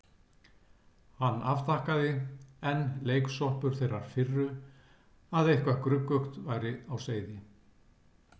Hann afþakkaði, enn leiksoppur þeirrar firru að eitthvað gruggugt væri á seyði.